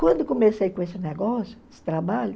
Quando comecei com esse negócio, esse trabalho,